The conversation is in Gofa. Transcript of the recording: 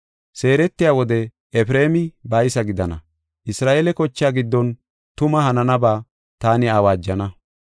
Seeretiya wode Efreemi baysa gidana. Isra7eele kochaa giddon tuma hananaba taani awaajana.